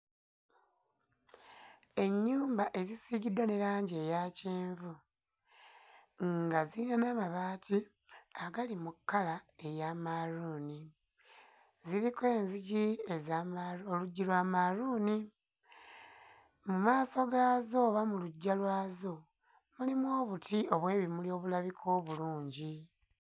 Ennyumba ezisiigiddwa ne langi eya kyenvu nga ziyina n'amabaati agali mu kkala eya mmaaluuni, ziriko enzigi eza mmaalu oluggi lwa mmaaluuni. Mu maaso gaazo oba mu luggya lwazo mulimu obuti obw'ebimuli obulabika obulungi.